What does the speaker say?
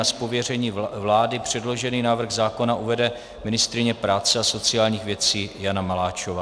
Z pověření vlády předložený návrh zákona uvede ministryně práce a sociálních věcí Jana Maláčová.